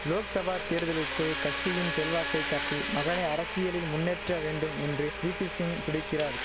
லோக்சபா தேர்தலுக்குள் கட்சியின் செல்வாக்கை காட்டி மகனை அரசியலில் முன்னேற்ற வேண்டும் என்று வீபிசிங் துடிக்கிறார்